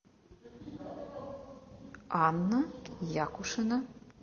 анна якушина